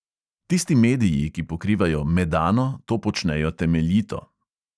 Tisti mediji, ki pokrivajo medano, to počnejo temeljito.